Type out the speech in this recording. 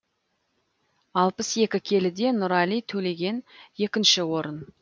алпыс екі келіде нұрали төлеген екінші орын